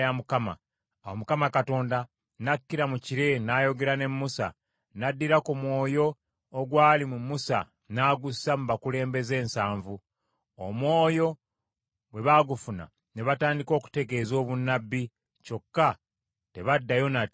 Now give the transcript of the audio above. Awo Mukama Katonda n’akkira mu kire n’ayogera ne Musa, n’addira ku mwoyo ogwali mu Musa n’agussa mu bakulembeze ensanvu. Omwoyo bwe baagufuna ne batandika okutegeeza obunnabbi, kyokka tebaddayo nate kukikola.